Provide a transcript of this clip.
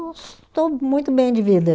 Estou muito bem de vida.